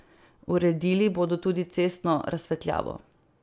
Uredili bodo tudi cestno razsvetljavo.